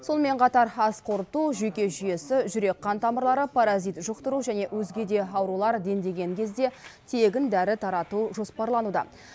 сонымен қатар ас қорыту жүйке жүйесі жүрек қан тамырлары паразит жұқтыру және өзге де аурулар дендеген кезде тегін дәрі тарату жоспарлануда